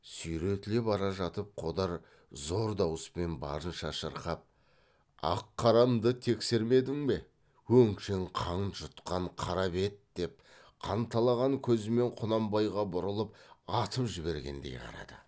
сүйретіле бара жатып қодар зор дауыспен барынша шырқап ақ қарамды тексермедің бе өңшең қан жұтқан қара бет деп қанталаған көзімен құнанбайға бұрылып атып жібергендей қарады